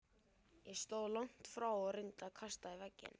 Ég stóð langt frá og reyndi að kasta í vegginn.